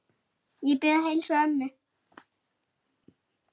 Ég bið að heilsa ömmu.